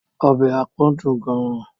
Ọbẹ̀ àpọ̀n dùn gan-an.